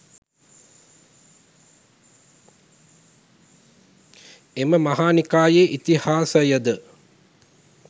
එම මහානිකායේ ඉතිහාසයද